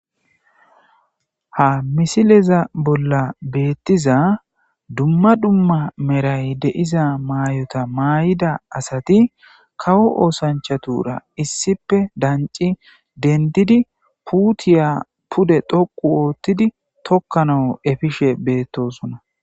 Ha misileza bolla betiza dumma dumma Meray de'iza mayota mayida asati kawo osanchura issippe danci dendidi puutiya pude dhoqu otidi tikanawu efishe betosona.